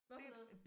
Hvad for noget